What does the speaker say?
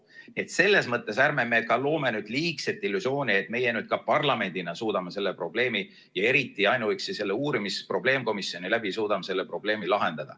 Nii et selles mõttes ärme loome nüüd liigset illusiooni, et meie parlamendina suudame selle probleemi lahendada, ja eriti ainuüksi selle probleemkomisjoni abil.